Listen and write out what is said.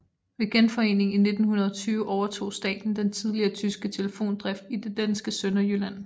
Ved genforeningen i 1920 overtog staten den tidligere tyske telefondrift i det danske Sønderjylland